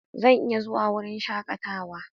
Zan iya zuwa wurin shakatawa.